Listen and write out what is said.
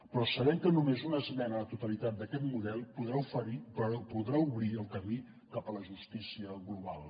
però sabem que només una esmena a la totalitat d’aquest model podrà obrir el camí cap a la justícia global